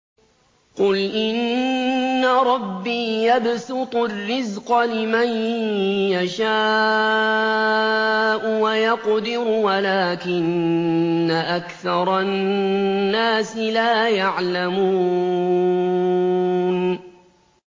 قُلْ إِنَّ رَبِّي يَبْسُطُ الرِّزْقَ لِمَن يَشَاءُ وَيَقْدِرُ وَلَٰكِنَّ أَكْثَرَ النَّاسِ لَا يَعْلَمُونَ